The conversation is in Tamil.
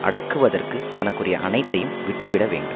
அடக்குவதற்குத் தனக்குரிய அனைத்தையும் விட்டு விட வேண்டும்